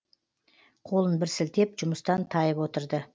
қолын бір сілтеп жұмыстан тайып отырды